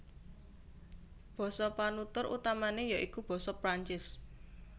Basa penutur utamané ya iku basa Prancis